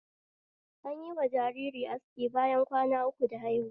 Anyi wa jariri aski bayan kwana uku da haihuwa